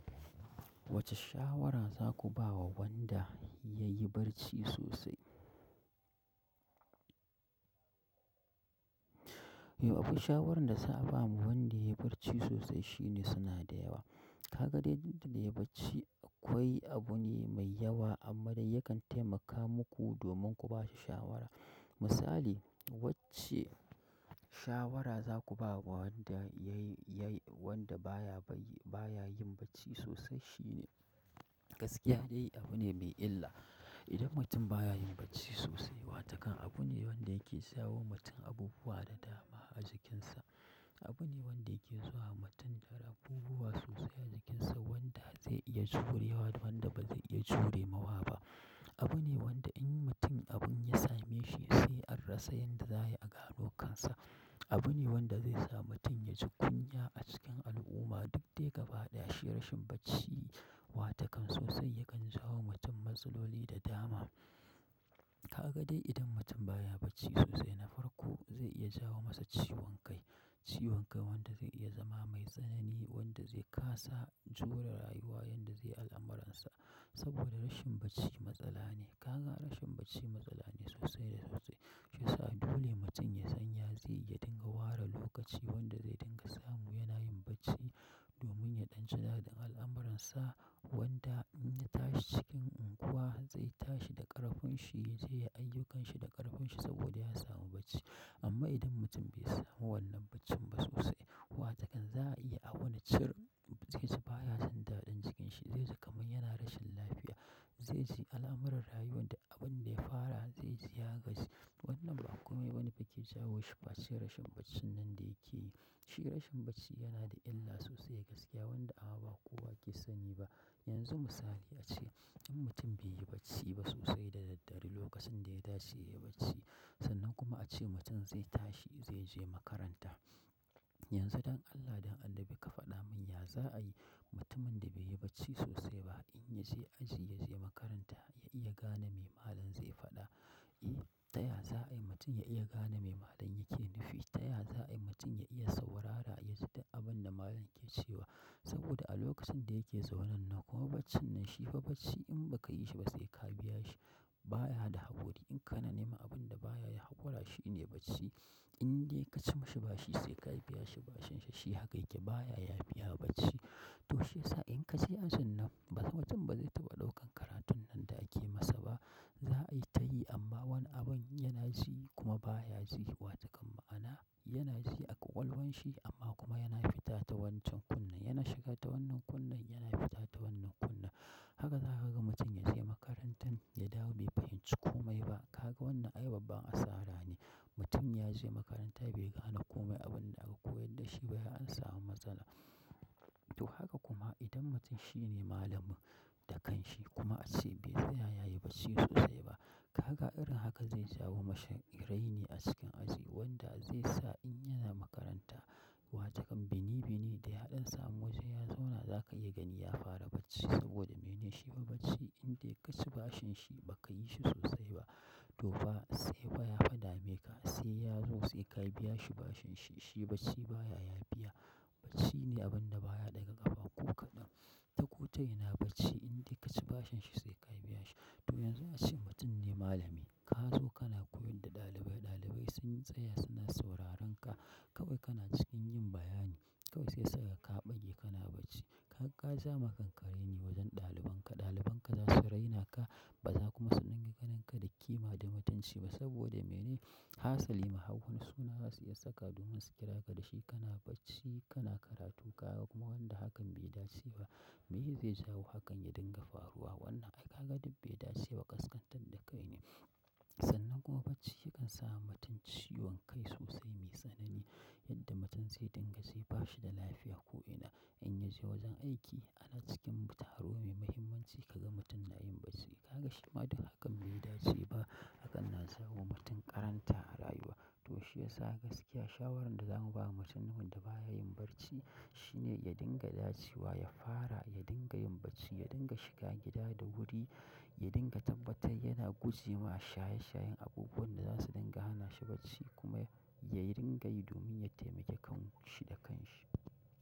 Wacce shawara za ku ba wa wanda ya yi barci sosai? Yau akwai shawarar da za a ba wa wanda ya yi barci sosai shine suna da yawa. Ka ga dai didda dai yayi bacci akwai abu ne mai yawa amma dai yakan taimaka muku domin ku ba shi shawara. Misali, wacce shawara za ku ba wa wanda ya yi, ya yi, wanda baya bac, baya yin bacci sosai shine gaskiya dai abu ne mai illa. Idan mutum baya yin bacci sosai, wata kan abu ne wanda yake sawo mutum abubuwa da dama a jikinsa. Abu ne wanda yake zuwa wa mutum kar abubuwa sosai a jikinsa wanda zai iya jurewa da wanda ba zai iya jure mawa ba. Abu ne wanda in mutum abin ya same shi sai an rasa yanda za ai a gano kansa. Abu ne wanda zai sa mutum ya ji kunya a cikin al'umma duk dai gaba ɗaya shi rashin bacci watakan sosai yakan jawo wa mutum matsaloli da dama. Ka ga dai idan mutum baya bacci sosai na farko zai iya jawo masa ciwon kai. Ciwon kai wanda zai iya zama mai tsanani wanda zai kasa jure rayuwa yanda zai al'amuransa saboda rashin bacci matsala ne. Ka ga rashin bacci matsala ne sosai da sosai. Shiyasa dole mutum ya san ya zai yi ya dinga ware lokaci wanda zai dinga samu yana yin bacci domin ya ɗan ci daɗin al'amuransa wanda in ya tashi cikin unguwa zai tashi da ƙarfin shi, zai yi ayyukanshi da ƙarfin shi saboda ya samu bacci. Amma idan mutum bai samu wannan baccin ba sosai, watakan za a iya a wuni cir zai ji baya san daɗin cikin shi. Zai ji kamar yana rashin lafiya. Zai ji alamar rayuwar da abin da ya fara zai ji ya gaji wannan ba komai bane fa ke jawo shi face rashin baccin nan da yake yi. Shi rashin bacci yanada illa sosai gaskiya wanda ba kowa ke sani ba yanzu misali ace in mutum bai yi bacci ba sosai da daddare lokacin da ya dace ya yi bacci, sannan kuma ace mutum zai tashi zai je makaranta. Yanzu don Allah don Annabi ka faɗa mun ya za'a yi mutumin da bai yi bacci sosai ba in ya je aji ya je makaranta ya iya gane me malam zai faɗa? Eh, ta ya za'ai mutum ya iya gane me malam yake nufi? Ta ya za ai mutum ya iya saurara ya ji abin da malam ke cewa? Saboda a lokacin da yake zaune nan kuma baccin nan shi fa bacci in ba ka yi shi ba sai ka biya shi. Baya da haƙuri in kana neman abin da baya yi haƙura shine bacci. In dai ka ci mashi bashi sai ka biya shi bashinshi, shi haka yake baya yafiya bacci. To shiyasa in ka je ajin nan ba mutum ba zai taɓa ɗaukan karatun nan da ake masa ba. Za'a yi ta yi amma wani abin yana ji kuma baya ji watakan ma'ana yana ji a ƙwaƙwalwan shi amma kuma yana fita ta wancan kunne. Yana shiga ta wannan kunne yana fita ta wannan kunne. Haka za ka ga mutum ya je makarantan ya dawo bai fahimci komai ba. Ka ga wannan ai babban asara ne. Mutum ya je makaranta bai gane komai abin da aka koyar da shi ba ai an samu matsala. To haka kuma idan mutum shine malamin, da kan shi kuma ace bai tsaya yayi bacci sosai ba. Ka ga irin haka zai jawo mashi raini a cikin aji wanda zai sa in yana makaranta watakan bini bini da yaɗan samu waje ya zauna za ka iya gani ya fara bacci saboda mene? Shi fa bacci in dai ka ci bashin shi ba ka yi shi sosai ba. To fa sai fa ya fa dameka, sai yazo sai ka biyashi bashinsa shi bacci baya yafiya bacci ne abin da baya ɗaga ƙafa ko kaɗan. Ta ko ta ina bacci in dai ka ci bashin shi sai ka biya shi. To yanzu ace mutum ne malami ka zo kana koyar da ɗalibai, ɗalibai sun tsaya suna sauraron ka. Kawai kana cikin yin bayani. Kawai sai su ga ka ɓage kana bacci. Ka ja ma kanka raini wajen dalibanka dalibanka za su raina ka ba za kuma su dinga ganinka da ƙima da mutunci ba saboda mene hasali ma har wani suna za su iya saka domin su kira ka da shi kana bacci kana karatu kaga kuma wanda hakan bai dace ba. Meye zai jawo hakan ya dinga faruwa? Wannan ai ka ga duk bai dace ba ƙasƙantar da kai ne. Sannan kuma bacci yakan sa wa mutum ciwon kai sosai mai tsanani yadda mutum zai dinga ji bashi da lafiya ko'ina. In ya je wajen aiki ana cikin taro mai muhimmanci kaga mutum na yin bacci. Ka ga shi ma duk hakan bai dace ba. Hakan na jawo wa mutum ƙaranta a rayuwa. To shiyasa gaskiya shawarar da za mu ba wa mutum wanda baya yin bacci shine ya dinga dace wa, ya fara, ya dinga yin bacci, ya dinga shiga gida da wuri, ya dinga tabbatar yana guje ma shaye shayen abubuwan da za su dinga hana shi bacci kuma yayi dinga yi domin ya taimake kan shi da kanshi.